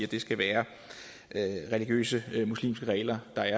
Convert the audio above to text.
det skal være religiøse muslimske regler der